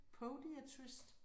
Podiatrist?